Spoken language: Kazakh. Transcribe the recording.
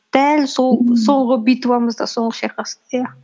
дәл сол соңғы битвамыз да соңғы шайқас иә